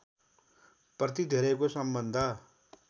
प्रति धेरैको सम्बन्ध